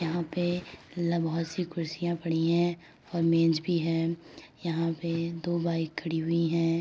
यहां पे बहोत सी कुर्सियां पड़ी हैं और मेज भी है। यहां पर दो बाइक खड़ी हुई हैं।